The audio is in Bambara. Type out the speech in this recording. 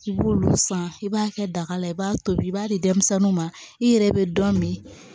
I b'olu san i b'a kɛ daga la i b'a tobi i b'a di denmisɛnninw ma i yɛrɛ bɛ dɔ min